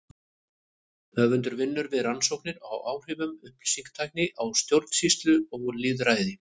Höfundur vinnur við rannsóknir á áhrifum upplýsingatækni á stjórnsýslu og lýðræði.